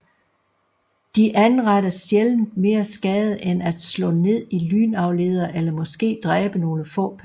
De anretter sjældent mere skade end at slå ned i lynafledere eller måske dræbe nogle få personer